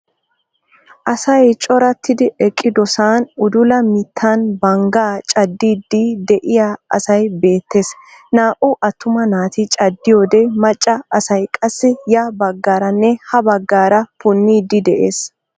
Asay corattidi eqqidosan udula mittaan banggaa caddiidi de'iyaa asay beettees. naa"u attuma naati caaddiyoode maacca asay qassi ya baggaaranne ha baggaara puniidi de'ees.